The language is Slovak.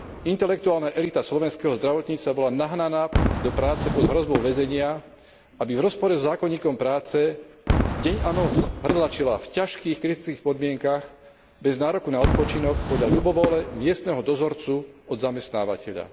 Intelektuálna elita slovenského zdravotníctva bola nahnaná do práce pod hrozbou väzenia, aby v rozpore so zákonníkom práce deň a noc hrdlačila v ťažkých, kritických podmienkach bez nároku na odpočinok, podľa ľubovôle miestneho dozorcu od zamestnávateľa.